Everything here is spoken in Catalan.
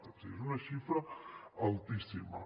o sigui és una xifra altíssima